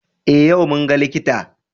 Eh yau mun ga likita.